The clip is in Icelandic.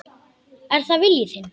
Er það vilji þinn?